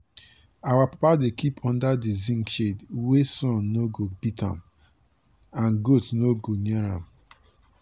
our papa dey kip under di zinc shed wia sun no go beat am and goat no go near am.